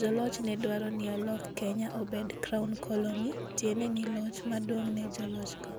joloch ne dwaro ni olok Kenya obed Crown Colony, tiende ni loch maduong' ne jolochgo.